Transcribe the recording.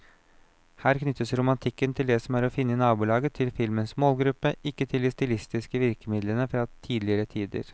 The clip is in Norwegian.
Her knyttes romantikken til det som er å finne i nabolaget til filmens målgruppe, ikke til de stilistiske virkemidlene fra tidligere tider.